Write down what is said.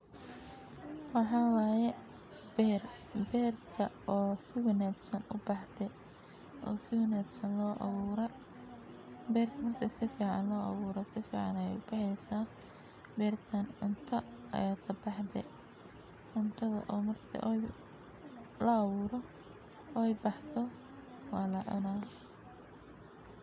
Waxa waaya beer, beerta oo si wanaagsan u baxdee, oo si wanaagsan loo awoora. Beertan marta sificaan loo awooro. Sificaan ayuu ubaheysaa beertan cunto ayato baxdee cuntada oo marta ooy laawro, oo ay baxdo waa la cunaan.